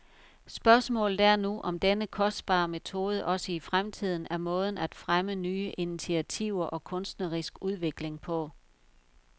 Spørgsmålet er nu, om denne kostbare metode også i fremtiden er måden at fremme nye initiativer og kunstnerisk udvikling på.